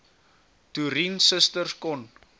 toerien susters kon